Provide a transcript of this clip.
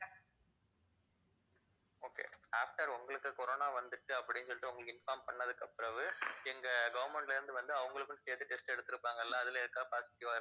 okay after உங்களுக்கு corona வந்துருச்சு அப்படின்னு சொல்லிட்டு உங்களுக்கு inform பண்ணதுக்கு பிறகு எங்க government ல இருந்து வந்து அவங்களுக்கும் சேர்த்து test எடுத்துருப்பாங்கள்ல அதுல யாருக்காவது positive ஆ இருந்த~